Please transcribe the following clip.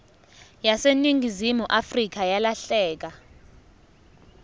yaseningizimu afrika yalahleka